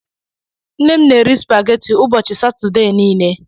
Nne m na-eri supageti ụbọchị Satọdee niile.